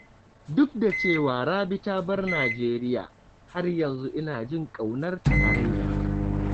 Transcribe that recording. Duk da cewa Rabi ta bar Najeriya, har yanzu ina jin ƙaunarta araina.